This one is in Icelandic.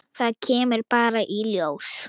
Það kemur bara í ljós.